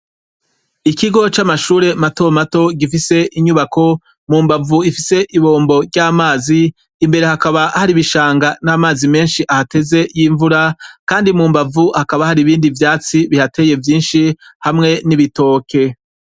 Ikigo c'amashure matomato gifise inyubako mu mbavu ifise ibombo ry'amazi imbere hakaba hari ibishanga n'amazi menshi ahateze y'imvura, kandi mu mbavu hakaba hari ibindi vyatsi bihateye vyinshi hamwe n'ibitoke.